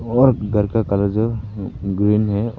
और घर का कलर जो है ग्रीन है।